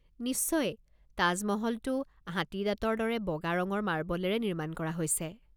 নিশ্চয়, তাজমহলটো হাতী দাঁতৰ দৰে বগা ৰঙৰ মাৰ্বলেৰে নিৰ্মাণ কৰা হৈছে।